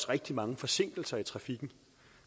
rigtig mange forsinkelser i trafikken